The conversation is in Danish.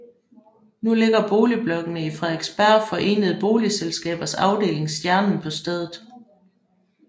Nu ligger boligblokkene i Frederiksberg Forenede Boligselskabers afdeling Stjernen på stedet